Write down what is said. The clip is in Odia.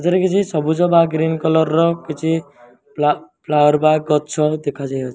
ଠାରେ କିଛି ସବୁଜ ବା ଗ୍ରୀନ କଲର ର କିଛ ଫ୍ଲାୱର ବ୍ୟାଗ୍ ଗଛ ଦେଖାଯାଉଛି।